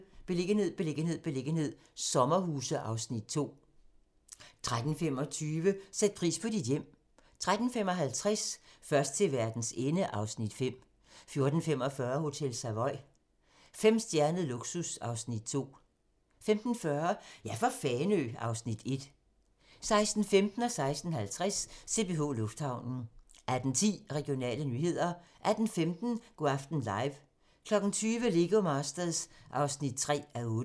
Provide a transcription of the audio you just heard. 12:35: Beliggenhed, beliggenhed, beliggenhed - sommerhuse (Afs. 2) 13:25: Sæt pris på dit hjem 13:55: Først til verdens ende (Afs. 5) 14:45: Hotel Savoy - femstjernet luksus (Afs. 2) 15:40: Ja for Fanø! (Afs. 1) 16:15: CPH Lufthavnen 16:50: CPH Lufthavnen 18:10: Regionale nyheder 18:15: Go' aften live 20:00: Lego Masters (3:8)